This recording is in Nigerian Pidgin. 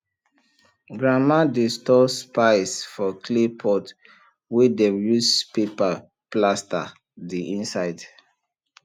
grandma dey store spice for clay pot wey dem use paper plaster the inside